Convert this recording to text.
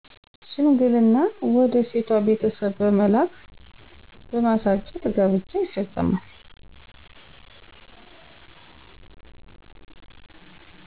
ሽምግልና ወደ ሴቷ ቤተሰብ በመላክ በማሳጨት ጋብቻ ይፈፀማል።